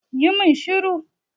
Yi mun shiru!